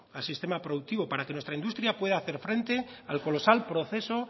al sistema productivo para que nuestra industria pueda hacer frente al colosal proceso